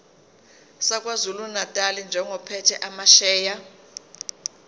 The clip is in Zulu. sakwazulunatali njengophethe amasheya